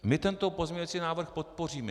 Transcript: My tento pozměňující návrh podpoříme.